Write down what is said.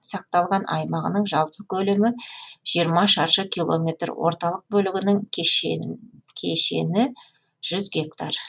сақталған аймағының жалпы көлемі жиырма шаршы километр орталық бөлігінің кешені жүз гектар